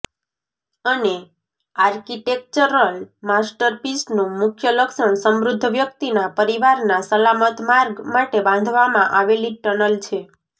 અને આર્કિટેક્ચરલ માસ્ટરપીસનું મુખ્ય લક્ષણ સમૃદ્ધ વ્યક્તિના પરિવારના સલામત માર્ગ માટે બાંધવામાં આવેલી ટનલ છે